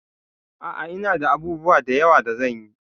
A'a, ina da abubuwa da yawa da zan yi.